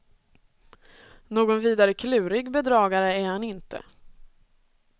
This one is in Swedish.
Någon vidare klurig bedragare är han inte.